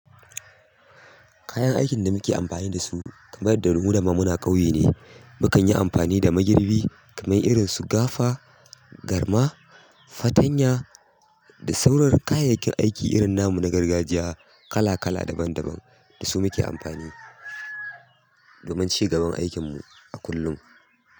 Kayan aikin da muke amfani da su kamar da mu da ma muna ƙauye ne. Mu kan yi amfani da magirbi kamar irin su gafa, garma, fatanya da sauran kayayyakin aiki irin na mu na gargajiya kala kala daban daban da su muke amfani domin cigaban aikin mu a kullum.